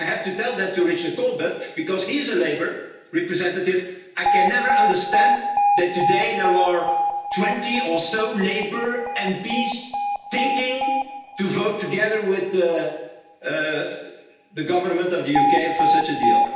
I have to tell that to Mr Richard Corbett because he's a Labour representative. I can never understand that today there are 20 or so Labour MPs thinking to vote together with the government of the UK for such a deal.